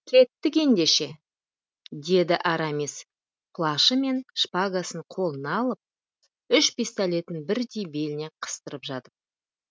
кеттік ендеше деді арамис плашы мен шпагасын қолына алып үш пистолетін бірдей беліне қыстырып жатып